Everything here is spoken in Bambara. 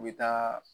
U bɛ taa